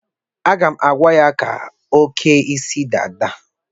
Aga m agwa ya ka o kee isi dada.